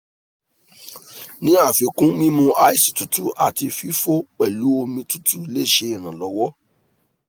ni afikun mimu ice tutu ati fifo pelu omi tutu le ṣe iranlọwọ